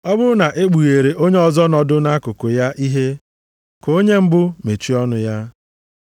Ọ bụrụ na-ekpughere onye ọzọ nọdụ nʼakụkụ ya ihe, ka onye mbụ mechie ọnụ ya.